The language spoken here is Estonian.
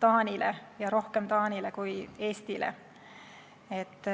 Taanile ja rohkem Taanile kui Eestile.